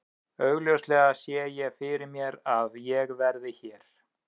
Augljóslega sé ég fyrir mér að ég verði hér.